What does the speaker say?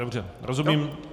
Dobře, rozumím.